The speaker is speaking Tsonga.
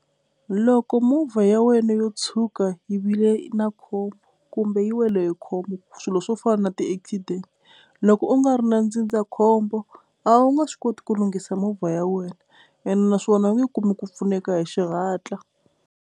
Loko movha ya wena yo tshuka yi vile na khombo kumbe yi wele hi khombo swilo swo fana na ti-accident, loko u nga ri na ndzindzakhombo a wu nga swi koti ku lunghisa movha ya wena ende naswona u nge kumi ku pfuneka hi xihatla.